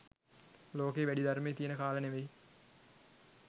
ලෝකයේ වැඩි ධර්මය තියෙන කාල නෙවෙයි